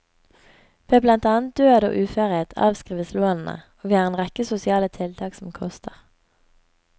Ved blant annet død og uførhet avskrives lånene, og vi har en rekke sosiale tiltak som koster.